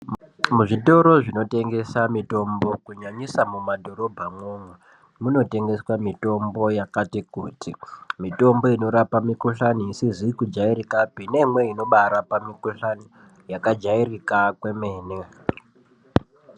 Muzvitoro zvinotengesa mitombo kunyanyisa mumadhorobhamo umwo munotengeswa mitombo yakati kuti. Mitombo inorapa mikuhlani isizi kujairikapi neimweni inobaarapa mikuhlani yakajairika kwemene.